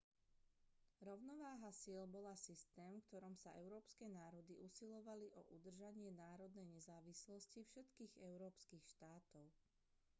rovnováha síl bola systém v ktorom sa európske národy usilovali o udržanie národnej nezávislosti všetkých európskych štátov